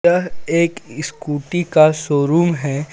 यह एक स्कूटी का शोरूम हे.